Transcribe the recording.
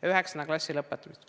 12. klassi lõpetamisel.